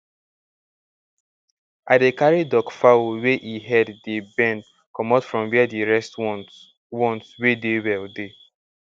i dey carry duckfowl wey e head dey bend comot from where the rest ones ones wey dey well dey